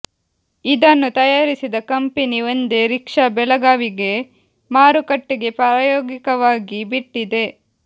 ಇದನ್ನು ತಯಾರಿಸಿದ ಕಂಪೆನಿ ಒಂದೇ ರಿಕ್ಷಾ ಬೆಳಗಾವಿಗೆ ಮಾರುಕಟ್ಟೆಗೆ ಪ್ರಾಯೋಗಿಕವಾಗಿ ಬಿಟ್ಟಿದೆ